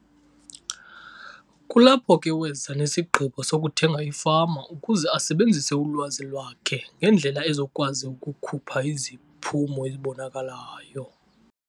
Kulapho ke weza nesigqibo sokuthenga ifama ukuze asebenzise ulwazi lwakhe ngendlela ezokwazi ukukhupha iziphumo ezibonakalayo.